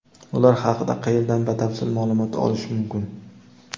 Ular haqida qayerdan batafsil maʼlumot olish mumkin?.